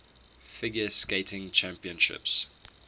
figure skating championships